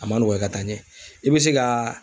A ma nɔgɔya ka taa ɲɛ , i bɛ se ka